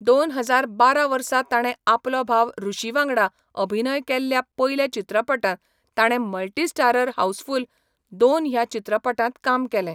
दोन हजार बारा वर्सा ताणें आपलो भाव ऋषी वांगडा अभिनय केल्ल्या पयल्या चित्रपटांत ताणें मल्टी स्टारर हाऊसफुल दोन ह्या चित्रपटांत काम केलें.